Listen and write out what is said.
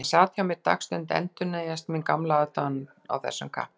Þegar hann sat hjá mér dagstund endurnýjaðist mín gamla aðdáun á þessum kappa.